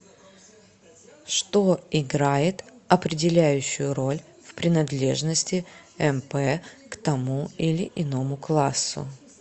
что играет определяющую роль в принадлежности мп к тому или иному классу